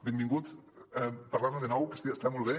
benvingut a parlar ne de nou que està molt bé